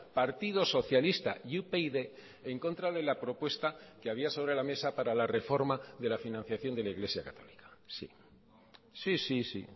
partido socialista y upyd en contra de la propuesta que había sobre la mesa para la reforma de la financiación de la iglesia católica sí sí sí sí